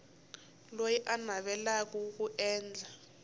loyi a navelaka ku endla